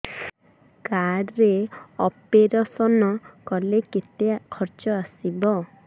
card ରେ operation କଲେ କେତେ ଖର୍ଚ ଆସିବ